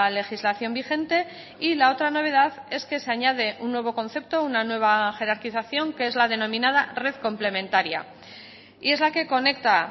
legislación vigente y la otra novedad es que se añade un nuevo concepto una nueva jerarquización que es la denominada red complementaria y es la que conecta